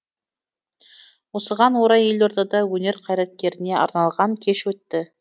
осыған орай елордада өнер қайраткеріне арналған кеш өтті